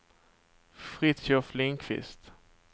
Fritiof Lindkvist